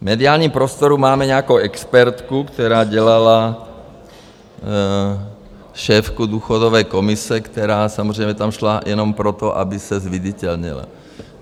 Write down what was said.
V mediálním prostoru máme nějakou expertku, která dělala šéfku důchodové komise, která samozřejmě tam šla jenom proto, aby se zviditelnila.